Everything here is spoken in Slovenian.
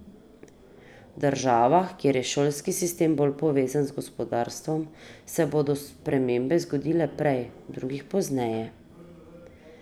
V državah, kjer je šolski sistem bolj povezan z gospodarstvom, se bodo spremembe zgodile prej, v drugih pozneje.